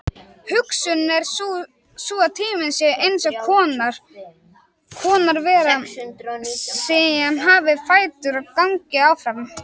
Hugsunin er sú að tíminn sé eins konar vera sem hafi fætur og gangi áfram.